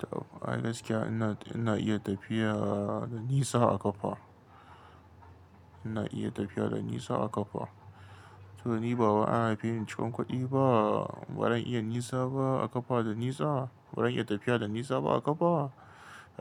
Tab, ai gaskiya ina, ina iya tafiya da nisa a ƙafa. Ina iya tafiya da nisa a ƙafa. To ni ba wai an haife ni cikin kuɗi ba, ba zan iya nisa ba a ƙafa da nisa, ba zan iya tafiya da nisa ba a ƙafa?